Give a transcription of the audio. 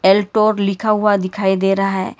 लिखा हुआ दिखाई दे रहा है।